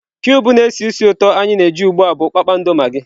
Kụịbụ na-esi ísì ụtọ anyị na-eji ugbu a bụ kpakpando magị.